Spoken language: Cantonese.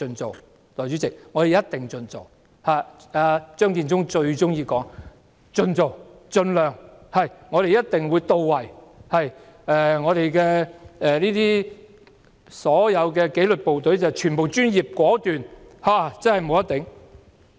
代理主席，政府一定會盡量做——張建宗最喜歡說"盡做"、"盡量"、"我們的工作一定會到位"、"所有紀律部隊全部專業果斷"。